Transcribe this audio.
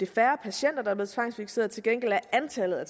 færre patienter der tvangsfikseret til gengæld er antallet af